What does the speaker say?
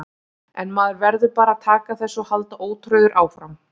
En maður verður bara að taka þessu og halda ótrauður áfram.